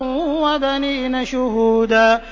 وَبَنِينَ شُهُودًا